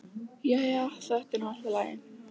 Jæja, þetta er nú allt í lagi.